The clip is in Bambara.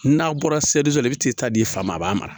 N'a bɔra la i bɛ t'i ta di a fa ma a b'a mara